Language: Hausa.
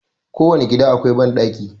Ko wane gida akwai banɗaki.